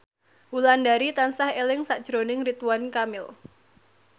Wulandari tansah eling sakjroning Ridwan Kamil